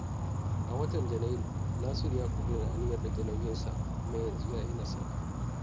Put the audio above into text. A watan Janairu, Nasiru ya ƙuduri aniyar rage nauyinsa, kuma yanzu ya yi nasara.